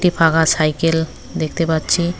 একটি ফাঁকা সাইকেল দেখতে পাচ্ছি।